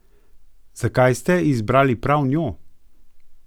Zakaj ste izbrali prav njo?